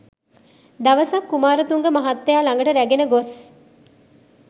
දවසක් කුමාරතුංග මහත්තයා ළඟට රැගෙන ගොස්